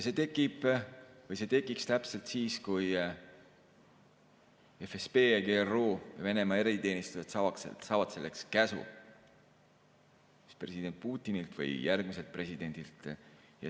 See tekiks täpselt siis, kui FSB ja GRU, Venemaa eriteenistused, saaksid selleks käsu president Putinilt või järgmiselt presidendilt.